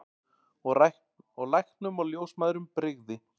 Og læknum og ljósmæðrum brygði.